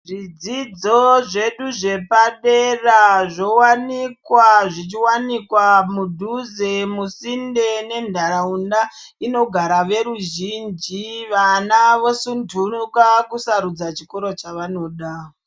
Zvidzidzo zvedu zvepadera zvowanikwa zvichiwanikwa mudhuze kusinde nenharaunda inogara veruzhinji vana vosuntunika kusarudza chikoro chavanoda.